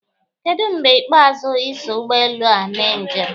Kedụ mgbe ikpeazụ I so ụgbọelu a mee njem?